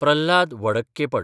Prahlad Vadakkepat